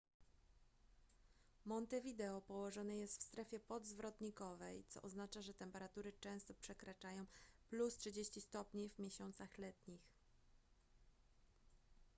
montevideo położone jest w strefie podzwrotnikowej co oznacza że temperatury często przekraczają +30°c w miesiącach letnich